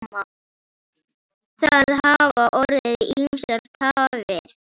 Það hafa orðið ýmsar tafir.